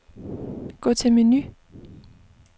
Gå til menu.